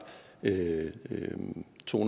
to